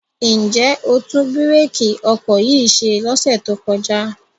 Ǹ jẹ́ o tún bírèkì ọkọ̀ yìí ṣe lọ́sẹ̀ tó kọjá?